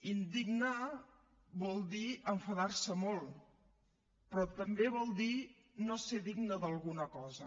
indignar vol dir enfadar se molt però també vol dir no ser digne d’alguna cosa